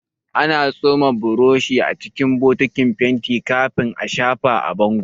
Ana tsoma burushi acikin bokitin fenti kafin a shafa a bango